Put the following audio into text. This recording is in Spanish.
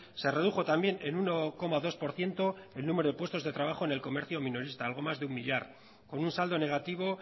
se redujo también en uno coma dos por ciento el número de puestos de trabajo en el comercio minorista algo más de un millar con un saldo negativo